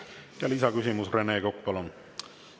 Lisaküsimus, Rene Kokk, palun!